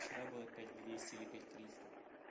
вчера было пять двести или пять триста